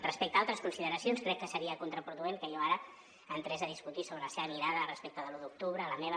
respecte a altres consideracions crec que seria contraproduent que jo ara entrés a discutir sobre la seva mirada respecte de l’un d’octubre la meva